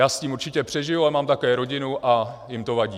Já s tím určitě přežiju, ale mám také rodinu a jim to vadí.